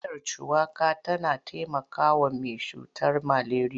Miyar shuwaka tana taimakawa mai cutar maleriya.